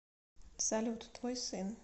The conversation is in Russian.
салют твой сын